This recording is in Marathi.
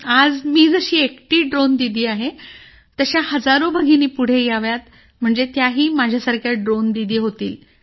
आज मी जशी एकटी ड्रोन दीदी आहे तशा हजारो भगिनी पुढे याव्यात म्हणजे त्याही माझ्यासारख्या ड्रोन दीदी होतील